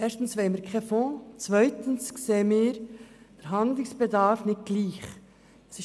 Erstens wollen wir keinen Fonds, und zweitens sehen wir den Handlungsbedarf nicht gleich wie die Motionäre.